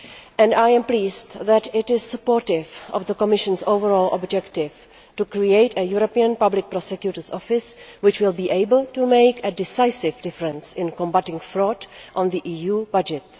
And I am pleased that it is supportive of the Commission's overall objective to create a European Public Prosecutor's Office which will be able to make a decisive difference in combating fraud on the EU budget.